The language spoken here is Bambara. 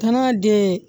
Kan'a den